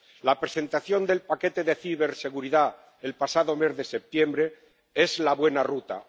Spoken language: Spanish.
La presentación del paquete de ciberseguridad el pasado mes de septiembre es la buena ruta.